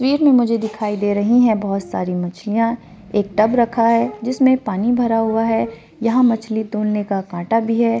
तस्वीर में मुझे दिखाई दे रही है बहुत सारी मछलियां एक टब रखा हे जिसमें पानी भरा हुआ हे यहां मछली तोलने काँटा भी है।